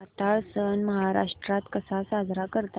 नाताळ सण महाराष्ट्रात कसा साजरा करतात